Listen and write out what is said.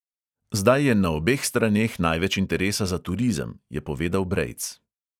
"Zdaj je na obeh straneh največ interesa za turizem," je povedal brejc.